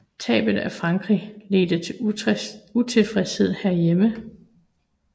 Tabet af Frankrig ledte til utilfredshed hjemme